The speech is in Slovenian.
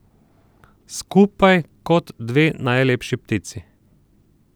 Skupaj, kot dve najlepši ptici!